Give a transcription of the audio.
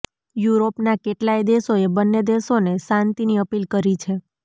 યૂરોપના કેટલાય દેશોએ બંને દેશોને શાંતિની અપીલ કરી છે